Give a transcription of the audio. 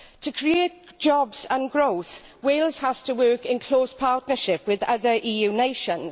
To create jobs and growth, Wales has to work in close partnership with other EU nations.